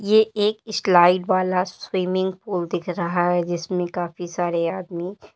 ये एक ईस्लाइड वाला स्विमिंग पूल दिख रहा है जिसमें काफी सारे आदमी --